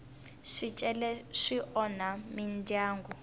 swicele swi onha mindyangu